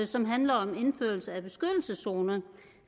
som handler om indførelse